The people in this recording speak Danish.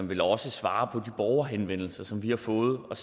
vil også svare på de borgerhenvendelser som vi har fået og